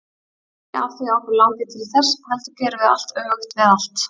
Ekki af því að okkur langi til þess, heldur gerum við allt öfugt við allt.